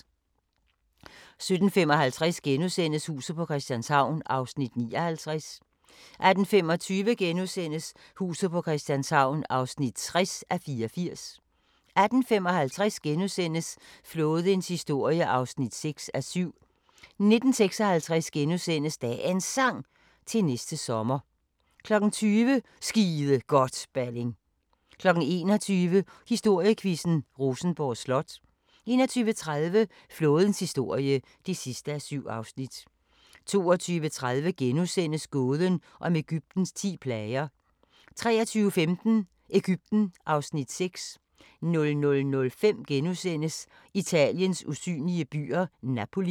17:55: Huset på Christianshavn (59:84)* 18:25: Huset på Christianshavn (60:84)* 18:55: Flådens historie (6:7)* 19:56: Dagens Sang: Til næste sommer * 20:00: Skide godt, Balling 21:00: Historiequizzen: Rosenborg Slot 21:30: Flådens historie (7:7) 22:30: Gåden om Egyptens ti plager * 23:15: Egypten (Afs. 6) 00:05: Italiens usynlige byer – Napoli *